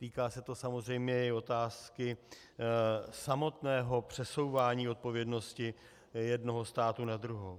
Týká se to samozřejmě i otázky samotného přesouvání odpovědnosti jednoho státu na druhý.